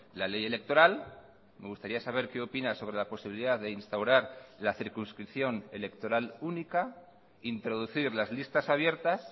la ley electoral me gustaría saber qué opina sobre la posibilidad de instaurar la circunscripción electoral única introducir las listas abiertas